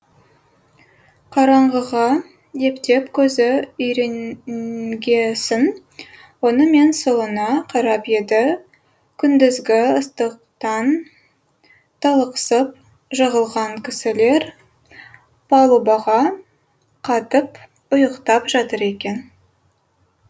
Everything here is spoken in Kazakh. қараңғыға ептеп көзі үйренгесін оңы мен солына қарап еді күндізгі ыстықтан талықсып жығылған кісілер палубаға қатып ұйықтап жатыр екен